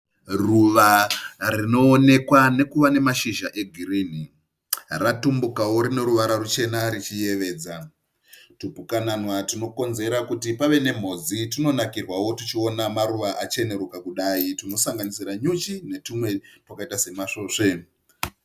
Ruva rinoonekwa nekuva nemashizha egirinhi. Ratumbukawo rine ruvara ruchena richiyevedza. Tupukanana tunokonzera kuti pave nemhodzi tunonakirwawo tuchiona mashizha achenerukira kudai tunosanganisira nyuchi netwumwe twakaita semasvosve.